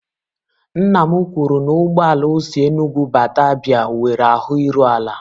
Nna m kwuru na ụgbọ ala o si Enugwu bata Abia nwere ahụ iru ala.